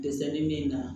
Dɛsɛ bɛ min na